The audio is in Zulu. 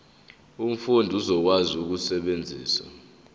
umfundi uzokwazi ukusebenzisa